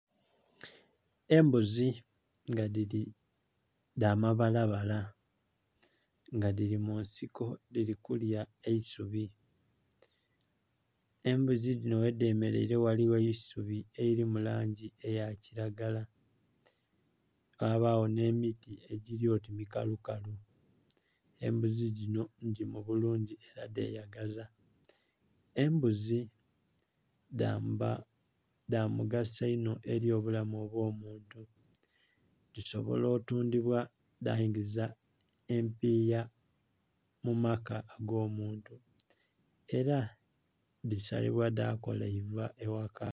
Embuzi nga dhili dha mabalabala nga dhili munsiko dhili kulya eisubi, embuzi dhino ghe dhe mereire ghaligho eisubi elili mu langi eya kilagala gha bagho nhe miti egili oti mikalu kalu. Embuzi dhino ngiimu bulungi era dheyagaza. Embuzi dha omugaso inho eri obulamu bwo muntu dhisobola otundhibwa dheingiza empiya mu mala ago muntu era dhisalinwa dha kola eiva eghaka.